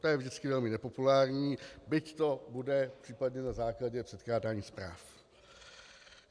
To je vždycky velmi nepopulární, byť to bude případně na základě předkládání zpráv.